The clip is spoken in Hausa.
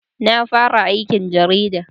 Na fara aikin jarida